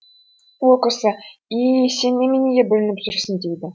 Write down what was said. ол кісі и и и сен неменеге бүлініп жүрсің дейді